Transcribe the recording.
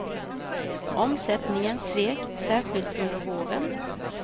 Omsättningen svek, särskilt under våren.